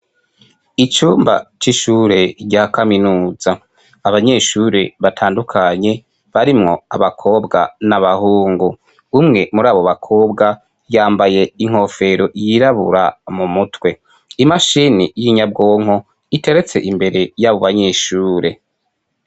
Icumba c'ishure rya kaminuza. Abanyeshure batandukanye barimwo abakobwa n'abahungu. Umwe muri abo bakobwa yambaye inkofero yirabura mu mutwe, imashini y'inyabwonko iteretse imbere y'abo banyeshure.